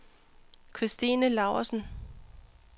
Kristine Laursen